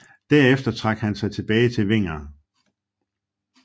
Derefter trak han sig tilbage til Vinger